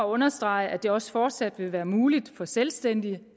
understrege at det også fortsat vil være muligt for selvstændige